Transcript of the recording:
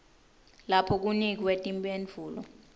lapho kunikwe timphendvulo